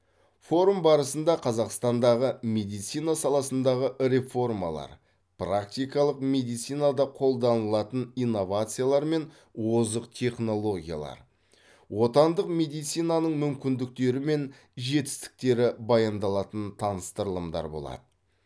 форум барысында қазақстандағы медицина саласындағы реформалар практикалық медицинада қолданылатын инновациялар мен озық технологиялар отандық медицинаның мүмкіндіктері мен жетістіктері баяндалатын таныстырылымдар болады